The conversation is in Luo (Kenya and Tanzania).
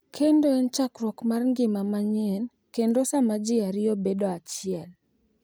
Kendo en chakruok mar ngima manyien kendo sama ji ariyo bedo achiel.